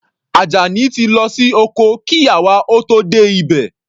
Ajani ti lọ sí oko kí àwa ó tó dé ibẹ̀.